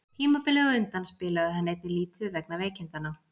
Tímabilið á undan spilaði hann einnig lítið vegna veikindanna.